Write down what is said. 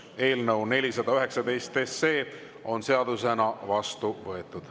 Eelnõu 419 on seadusena vastu võetud.